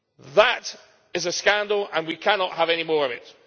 That is a scandal, and we cannot have any more of it.